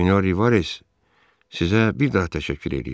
Sinor Rivez, sizə bir daha təşəkkür edirəm.